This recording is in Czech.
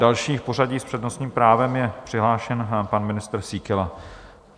Další v pořadí s přednostním právem je přihlášen pan ministr Síkela.